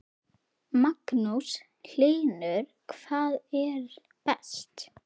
Magnús Hlynur: Hvað er best?